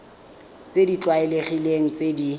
tse di tlwaelegileng tse di